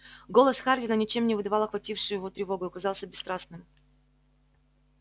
голос хардина ничем не выдавал охватившую его тревогу и казался бесстрастным